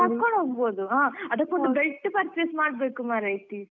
ಕರ್ಕೊಂಡ್ ಹೋಗ್ಬೋದು ಅದಕೊಂದ್ belt purchase ಮಾಡ್ಬೇಕು ಮಾರೈತಿ.